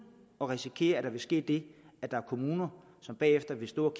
at risikere at der vil ske det at der er kommuner som bagefter vil stå